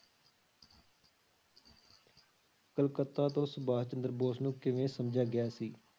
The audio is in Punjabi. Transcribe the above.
ਕਲਕੱਤਾ ਤੋਂ ਸੁਭਾਸ਼ ਚੰਦਰ ਬੋਸ ਨੂੰ ਕਿਵੇਂ ਸਮਝਿਆ ਗਿਆ ਸੀ?